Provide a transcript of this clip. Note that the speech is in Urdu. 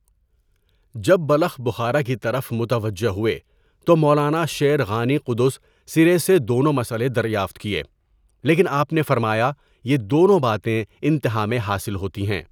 جب بلخ بخارا کی طرف متوجہ ہوئے تو مولانا شیر غانی قدس سرہٗسے دونوں مسئلے دریافت کیے لیکن آپ نے فرمایا، یہ دونوں باتیں انتہا میں حاصل ہوتی ہیں.